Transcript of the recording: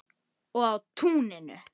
Og á túninu.